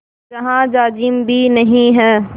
जहाँ जाजिम भी नहीं है